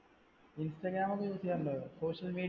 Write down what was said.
Instagram ഒക്കെ use ചെയ്യാറുണ്ടോ? social media